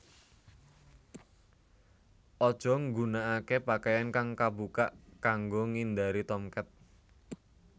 Aja nggunakaké pakaian kang kabukak kanggo ngindari Tomcat